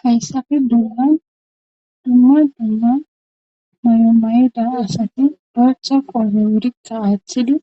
hayssafe bollan dumma dumma mayo mayoda asati doaththa qoome wurikka aaththidi